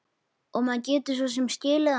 Og maður getur svo sem skilið það.